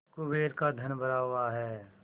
कुबेर का धन भरा हुआ है